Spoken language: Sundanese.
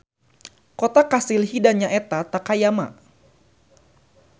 Kota kastil Hida nyaeta Takayama.